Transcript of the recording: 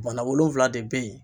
Bana wolonfila de bɛ yen.